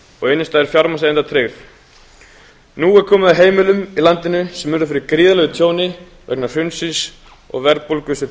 og innstæður fjármagnseigenda tryggð nú er komið að heimilum í landinu sem urðu fyrir gríðarlegu tjóni vegna hrunsins og verðbólgu sem